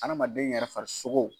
Adamaden yɛrɛ farisogo